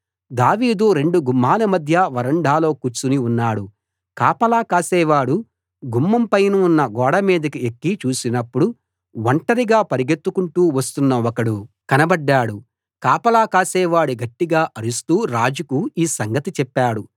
దావీదు రెండు గుమ్మాల మధ్య వరండాలో కూర్చుని ఉన్నాడు కాపలా కాసేవాడు గుమ్మంపైనున్న గోడమీదికి ఎక్కి చూసినప్పుడు ఒంటరిగా పరుగెత్తుకుంటూ వస్తున్న ఒకడు కనబడ్డాడు కాపలా కాసేవాడు గట్టిగా అరుస్తూ రాజుకు ఈ సంగతి చెప్పాడు